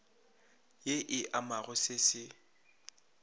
ye e amago se se